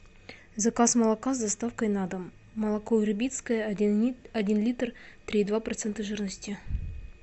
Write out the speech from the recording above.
заказ молока с доставкой на дом молоко ербитское один литр три и два процента жирности